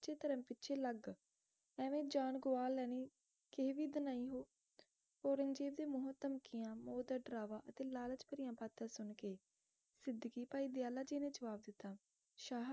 ਸਚੇ ਧਰਮ ਪਿੱਛੇ ਲੱਗ ਐਵੇ ਜਾਨ ਗਵਾ ਲੈਣੀ ਕਿ ਵਿਦ ਨਹੀਂ ਹੋਊ ਔਰੰਗਜੇਬ ਦੇ ਮੌਤ ਧਮਕੀਆਂ ਮੌਤ ਦਾ ਡਰਾਵਾ ਅਤੇ ਲਾਲਚ ਭਰੀਆਂ ਬਾਤਾਂ ਸੁਣ ਕੇ ਸਿਧਗੀ ਭਾਈ ਦਯਾਲਾ ਜੀ ਨੇ ਜਵਾਬ ਦਿੱਤਾ ਸ਼ਾਹਾਂ